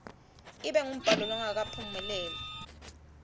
ibe ngumbhalo longakaphumeleli